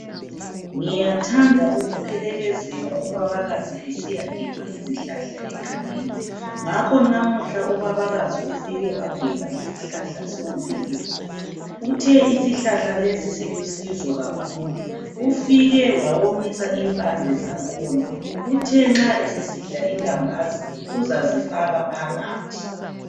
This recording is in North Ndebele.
Ngiyathanda ukuphelekezela ubabakazi esiyagebha izihlahla egangeni, ngakho namuhla ubabakazi ufike wagebha isihlahla somviyo. Uthe isihlala lesi silusizo kakhulu, ufike wawomisa impande zangkhona Uthe nxa esesidla ilambazi uzazifaka phakathi.